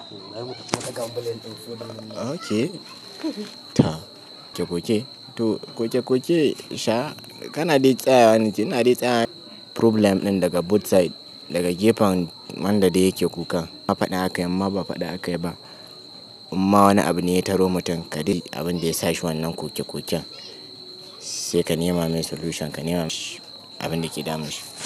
Okay. Ta. Koke-koke. To koke-koke sha kana dai tsaya na yi tsaya. Problem ɗin daga both side, daga gefen wanda duk yake kuka. A faɗa aka yi imma ba faɗa aka yi ba. Imma wani abu ne ya taru mutum ka dai abin da ya sa shi wannan koke-koken sai ka nema mai solution, ka nema shi abin da ke damun shi.